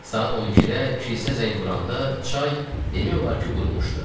Saat 12-də kilsə zəng vuranda çay demək olar ki, qurumuşdu.